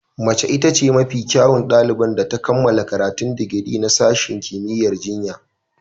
Mace ita ce mafi kyawun ɗaliban da ta kammala karatun digiri na sashen kimiyyar jinya.